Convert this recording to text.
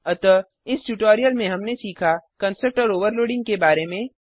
अतः इस ट्यूटोरियल में हमने सीखा कंस्ट्रक्टर ओवरलोडिंग के बारे में